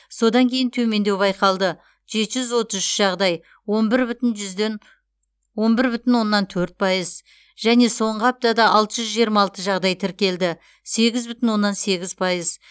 содан кейін төмендеу байқалды жеті жүз отыз үш жағдай он бір бүтін оннан төрт пайыз және соңғы аптада алты жүз жиырма алты жағдай тіркелді сегіз бүтін оннан сегіз пайыз